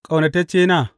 Ƙaunataccena!